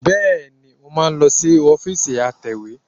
Bẹ́ẹ̀ni, mo máa lọ sí ọ́fíìsì atẹ̀wé